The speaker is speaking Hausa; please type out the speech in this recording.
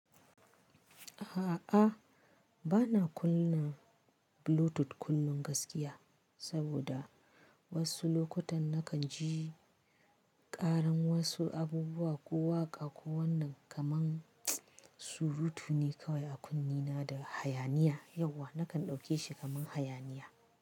A'a, bana kunna Bluetooth kullum gaskiya saboda wasu lokutan nakan ji ƙaran wasu abubuwa ko waƙa ko wannan kamar surutu ne kawai a kunnena da hayaniya. Yauwa nakan ɗauke shi kamar hayaniya.